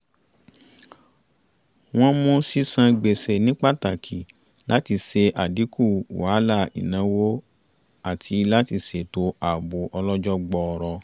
wọ́n mú sísan gbèsè ní pàtàkì láti ṣe àdínkù wàhálà ìnáwó àti láti ṣètò àbò ọlọ́jọ́ gbọọrọ